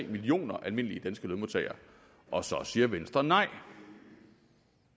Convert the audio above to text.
millioner almindelige danske lønmodtagere og så siger venstre nej